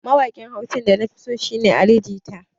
Mawaƙin Hausa da na fi so a da shi ne Ali jita.